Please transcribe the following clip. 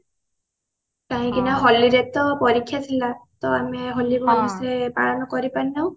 କାହିଁକି ନା ହୋଲି ରେ ତ ପରୀକ୍ଷା ଥିଲା ତ ଆମେ ହୋଲି ଭଲସେ ପାଳନ କରିପାରିନାହୁଁ